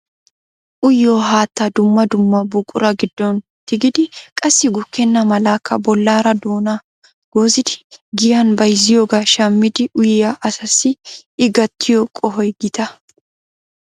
uyyiyo haattaa dumma dumma buqura giddon tigidi qassi gukkena malakka bollaara doona goozidi giyyaan bayzziyooga shammidi uyyiyaa asassi I gattiyoo qohoy gita.